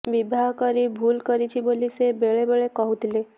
ବିବାହ କରି ଭୁଲ୍ କରିଛି ବୋଲି ସେ ବେଳେ ବେଳେ କହୁଥିଲେ